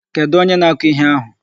Kedụ onye na-akụ ihe ahụ?